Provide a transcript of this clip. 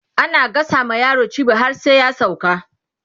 ana gasa ma yaro cibi har sai ya sauka